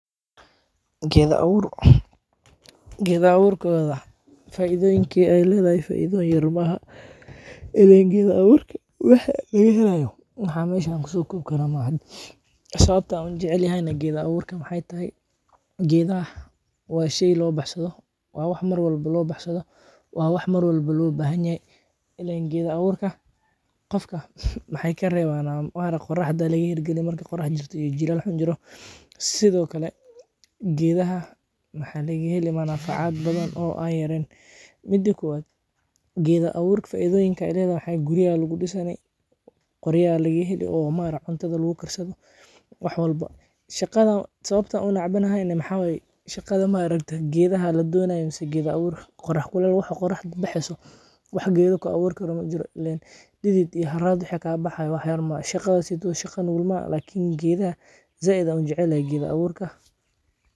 Geda awoorka. Geda awoorka wada fayday inkee ay leedahay iyo faydayo yaramaha. Illen geda awoorka waxaa laga helaa yo in xaggaan shan ku soo koob ka raaxo ah. Sababta uun jecel yahayna gida awoorka maxaa tay? Geda ah waa shay loo baxsado. Waa wax mar walbo loo baxsado. Waa wax mar walbo loo baahan yahay. Illen gida awoorka qofka maxaa ay ka reebaan aan oaro qoraxda laga heli cariga markii qorax jirta iyo jiilaal xun jiro. Sidoo kale geedaha maxaa laga heli ma nafacaad badan oo ah yareen. Muddo kuwa gida awoorka faydayinka ay leedahay waxay guriyaal ugu dhisane, qoriyaal laga heli oo maara cuntada lagu ka baxso wax walbo. Shaqada. Sababta uun cabanahay inee maxaa way shaqada ma ragtay. Geedaha la doonayo insa gida awoorka. Qorax walaalo waxa qorax baxayso wax gida ka awoorka run jiro. Illen didid iyo haraad u hekay baxaya wax yar mahad shaqada sidoo shaqan bulmaan. Lakiin gida zayd un jeclaa gida awoorka.